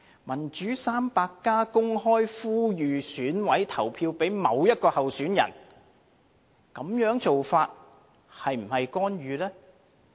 "民主 300+" 公開呼籲選委投票給某一位候選人，這種做法是否干預呢？